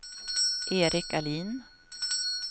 Eric Ahlin